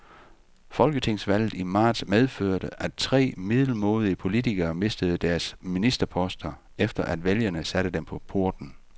Folketingsvalget i marts medførte, at tre middelmådige politikere mistede deres ministerposter, efter at vælgerne satte dem på porten.